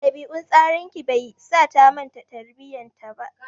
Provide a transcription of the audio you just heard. Ɗabi'un tsararraki bai sa ta manta tarbiyyar ta ba.